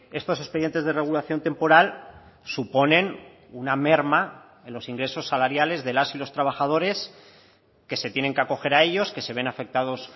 estos expedientes de regulación temporal suponen una merma en los ingresos salariales de las y los trabajadores que se tienen que acoger a ellos que se ven afectados